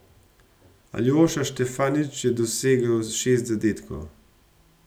Aljoša Štefanič je dosegel šest zadetkov.